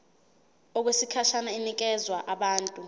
okwesikhashana inikezwa abantu